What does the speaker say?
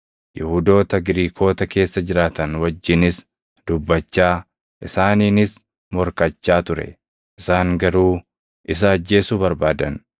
Yihuudoota Giriikota keessa jiraatan wajjinis dubbachaa isaaniinis morkachaa ture; isaan garuu isa ajjeesuu barbaadan.